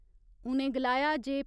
उ'नें गलाया जे